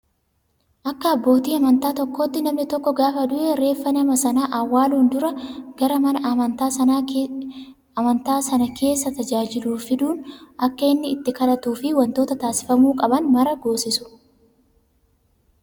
Akka abbootii amantaa tokkootti namni tokko gaafa du'e reeffa nama Sanaa awwaaluun dura gara mana amantaa sana keessa tajaajiluu fiduun akka inni itti kadhatuu fi wantoota taasifamuu qaban maraa goosisu.